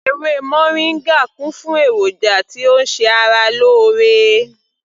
Ewé moringa kún fún èròjà tí ó ń ṣe ara lóore